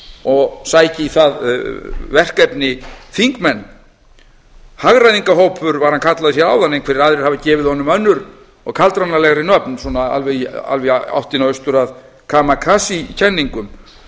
og sækja í það verkefni þingmenn hagræðingarhópur var hann kallaður hér áðan einhverjir aðrir hafa gefið honum önnur og kaldranalegri nöfn svona alveg í áttina austur að kramakasí kenningum